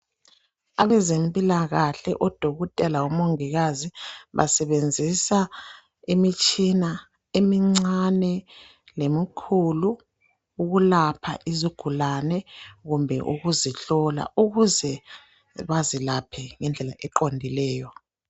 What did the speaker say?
Abezempilakahle odokotela labomongikazi basebenzisa imitshina emincane lemikhulu .Ukulapha izigulane kumbe ukuzihlole ,ukuze bazilaphe ngendlela eqondileyo.